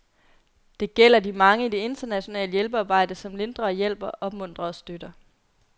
Det gælder de mange i det internationale hjælpearbejde, som lindrer og hjælper, opmuntrer og støtter.